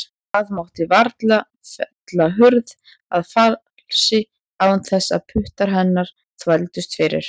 Það mátti varla fella hurð að falsi án þess að puttar hennar þvældust fyrir.